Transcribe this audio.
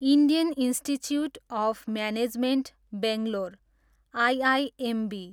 Indian Institute of Management Bangalore, IIMB